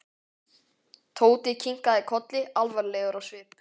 Tóti kinkaði kolli alvarlegur á svip.